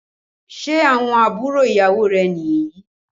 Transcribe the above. Ṣé àwọn àbúrò ìyàwó rẹ̀ ni yìí?